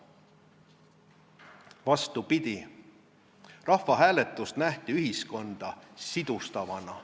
Vastupidi, rahvaalgatust nähti ühiskonna sidustajana.